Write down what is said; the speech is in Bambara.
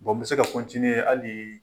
Bon n bɛ se ka continué hali